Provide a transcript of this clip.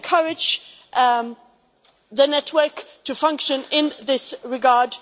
Let's encourage the network to function in this regard.